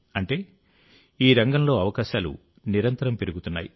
అంటే ఈ రంగంలో అవకాశాలు నిరంతరం పెరుగుతున్నాయి